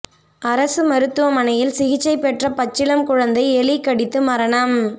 அரசு மருத்துவ மனையில் சிகிச்சை பெற்ற பச்சிளம் குழந்தை எலி கடித்து மரணம்